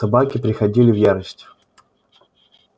собаки приходили в ярость